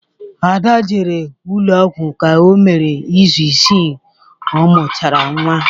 Ada jere ụlọ ọgwụ ka o mere izu isii ọ mụchara nwa.